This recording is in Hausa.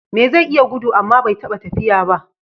Me zai iya gudu amma bai taɓa tafiya ba?